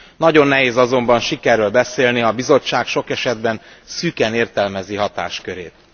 Nagyon nehéz azonban sikerről beszélni, ha a Bizottság sok esetben szűken értelmezi hatáskörét.